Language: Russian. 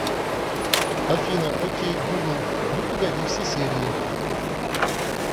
афина о кей гугл ну погоди все серии